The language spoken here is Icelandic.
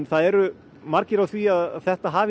það eru margir á því að þetta hafi